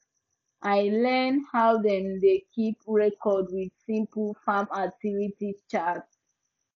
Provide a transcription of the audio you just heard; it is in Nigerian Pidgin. i learn how dem dey keep records with simple farm activity chart